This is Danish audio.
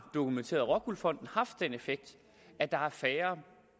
dokumenterede rockwool fonden haft den effekt at der er færre